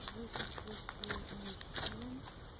выше среди мужчин